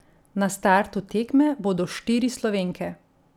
Na startu tekme bodo štiri Slovenke.